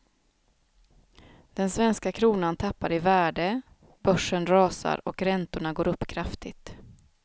Den svenska kronan tappar i värde, börsen rasar och räntorna går upp kraftigt.